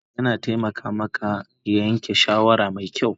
Kame kai yana taimaka maka yanke shawara mai kyau